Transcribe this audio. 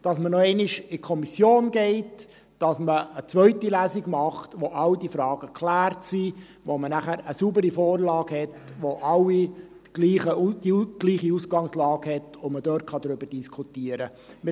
dass man noch einmal in die Kommission geht, dass man eine zweite Lesung macht, in der all diese Fragen geklärt sind, sodass man nachher eine saubere Vorlage hat, bei der alle die gleiche Ausgangslage haben und man darüber diskutieren kann.